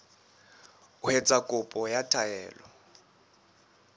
ho etsa kopo ya taelo